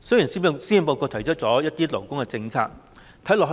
雖然施政報告提出了一些勞工政策，看似